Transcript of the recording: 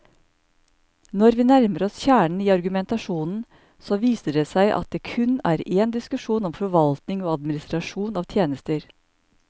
Når vi nærmer oss kjernen i argumentasjonen, så viser det seg at det kun er en diskusjon om forvaltning og administrasjon av tjenester.